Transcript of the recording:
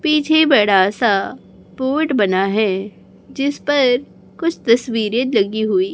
पीछे बड़ा सा बोर्ड बना है जिस पर कुछ तस्वीरें लगी हुई--